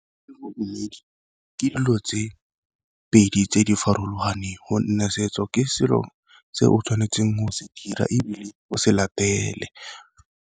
Le bodumedi ke dilo tse pedi tse di farologaneng, gonne setso ke selo se o tshwanetseng go se dira ebile o se latele.